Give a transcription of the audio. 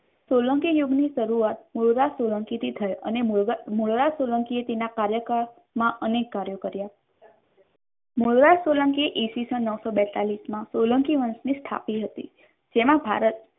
સોલંકી યુગની શરૂઆત મુળદાસ સોલંકી થી થયેલ અને મૂળરાજ સોલંકી તેના કાર્યકાળ માં અનેક કાર્યો કર્ય મૂળરાજ સોલંકી ઇસવીસન નવસો બેતાલીશ માં સોલંકી વંશ સ્થાપ્યો હતો. તેમાં ભારત